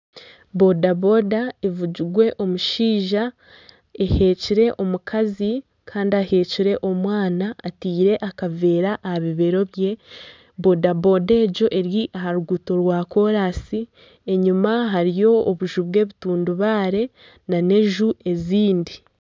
Boda boda evugirwe omushaija eheekire omukazi kandi aheekire omwana ataire akaveera aha bibeero bye, boda boda egyo eri aha ruguuto rwa kooransi enyuma hariyo obunju bw'ebitundubare na n'enju ezindi.